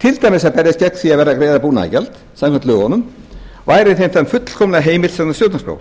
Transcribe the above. til dæmis að berjast gegn því að verða að greiða búnaðargjald samkvæmt lögunum væri þeim það fullkomlega heimilt samkvæmt stjórnarskrá